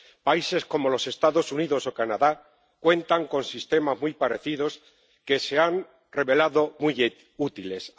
Países como los Estados Unidos o Canadá cuentan con sistemas muy parecidos, que se han revelado muy útiles.